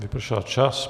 Vypršel čas.